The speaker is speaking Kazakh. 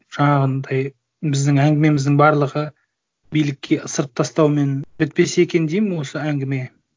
жаңағындай біздің әңгімеміздің барлығы билікке ысырып тастаумен бітпесе екен деймін осы әңгіме